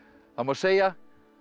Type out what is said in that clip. það má segja